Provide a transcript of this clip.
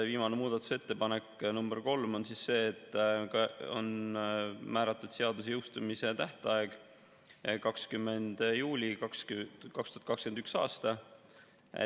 Viimane muudatusettepanek, nr 3, on see, et on määratud seaduse jõustumise tähtajaks 20. juuli 2021. aastal.